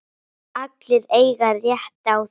Allir eiga rétt á því.